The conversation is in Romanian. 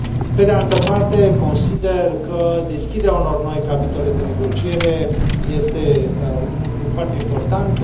Pe de altă parte, consider că deschiderea unor noi capitole de negociere este un lucru foarte important.